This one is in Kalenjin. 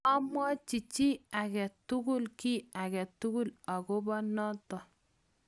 mamwochi chii age tugul ky age tugul akobo noto